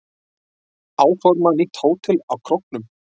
Áforma nýtt hótel á Króknum